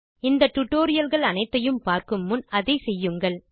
இந்த டியூட்டோரியல் கள் அனைத்தையும் பார்க்கும் முன் அதை செய்யுங்கள்